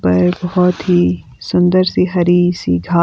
पर बहोत ही सुंदर सी हरी सी घा--